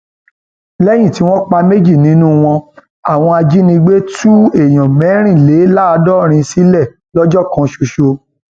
lẹyìn tí wọn pa méjì nínú wọn àwọn ajínigbé tú èèyàn mẹrìnléláàádọrin sílẹ lọjọ kan ṣoṣo